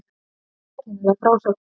Sérkennileg frásögn